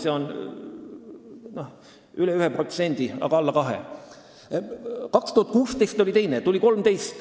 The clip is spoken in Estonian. See on üle 1%, aga alla 2%.